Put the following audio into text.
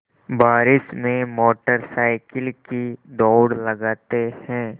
बारिश में motorcycle की दौड़ लगाते हैं